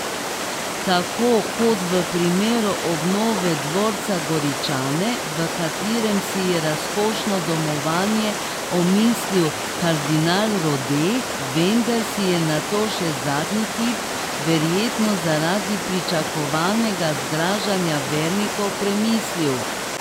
Tako kot v primeru obnove dvorca Goričane, v katerem si je razkošno domovanje omislil kardinal Rode, vendar si je nato še zadnji hip, verjetno zaradi pričakovanega zgražanja vernikov, premislil.